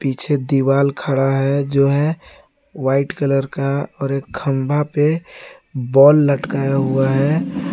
पीछे दीवाल खड़ा है जो है वाइट कलर का और एक खंभा पे बॉल लटका हुआ है।